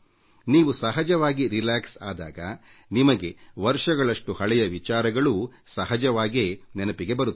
ನೀವು ಸಹಜವಾಗಿ ನಿರುಮ್ಮಳವಾದಾಗ ನಿಮಗೆ ವರ್ಷಗಳಷ್ಟು ಹಳೆಯ ಸಂಗತಿಗಳೂ ಸಹಜವಾಗೇ ನೆನಪಿಗೆ ಬರುತ್ತವೆ